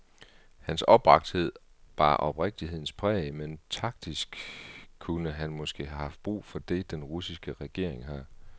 Hans opbragthed bar oprigtighedens præg, men taktisk kunne han måske have haft brug for det, den russiske regering har.